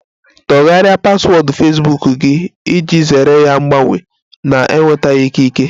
Tọgharịa paswọọdụ Fesbuk gị iji zere ya mbanye na-enwetaghi ikike!